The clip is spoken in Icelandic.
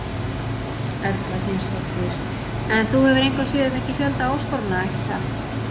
Erla Hlynsdóttir: En þú hefur engu að síður fengið fjölda áskorana, ekki satt?